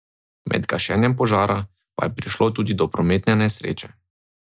Med gašenjem požara pa je prišlo tudi do prometne nesreče.